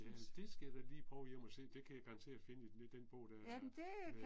Jamen det skal jeg da lige prøve hjem og se det kan jeg garanteret finde i den i den bog der øh